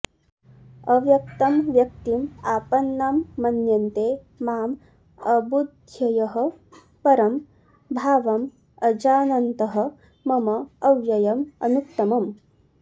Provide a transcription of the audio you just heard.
अव्यक्तं व्यक्तिम् आपन्नं मन्यन्ते माम् अबुद्धयः परं भावम् अजानन्तः मम अव्ययम् अनुत्तमम्